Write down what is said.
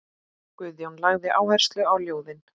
Guðjón lagði áherslu á ljóðin.